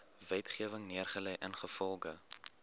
wetgewing neergelê ingevolge